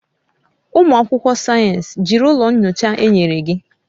Ụmụ akwụkwọ sayensị, jiri ụlọ nyocha enyere gị